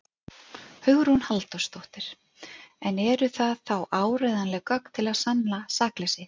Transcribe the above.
Hugrún Halldórsdóttir: En eru það þá áreiðanleg gögn til að sanna sakleysi ykkar?